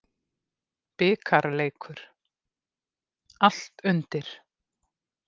Bikarleikur, allt undir.